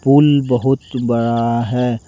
पुल बहुत बड़ा है।